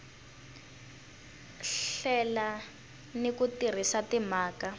hlela ni ku tirhisa timhaka